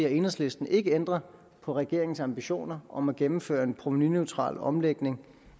og enhedslisten ikke ændrer på regeringens ambitioner om at gennemføre en provenuneutral omlægning